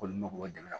K'olu mako dɛmɛ